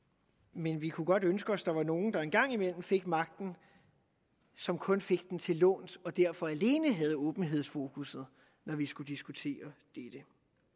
men vi kunne godt ønske os at der var nogle der en gang imellem fik magten som kun fik den til låns og derfor alene havde åbenhedsfokuset når vi skulle diskutere dette